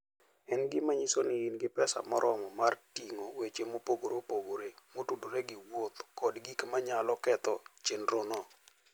En gima nyiso ni in gi pesa moromo mar ting'o weche mopogore opogore motudore gi wuoth kod gik ma nyalo ketho chenrono.